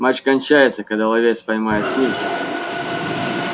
матч кончается когда ловец поймает снитч